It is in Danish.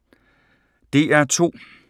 DR2